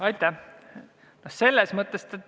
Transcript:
Aitäh!